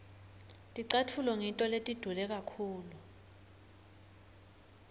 ticatfulo ngito letidule kakhulu